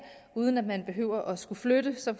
uden at man behøver at skulle flytte så